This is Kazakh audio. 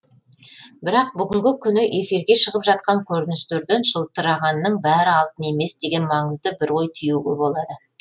бірақ бүгінгі күні эфирге шығып жатқан көріністерден жылтырағанның бәрі алтын емес деген маңызды бір ой түюге болады